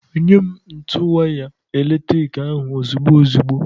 Nyem ntu waya eletrik ahụ ozugbo ozugbo!